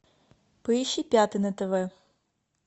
поищи пятый на тв